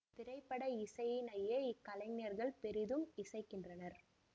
திரைப்பட இசையினையே இக்கலைஞர்கள் பெரிதும் இசைக்கின்றனர்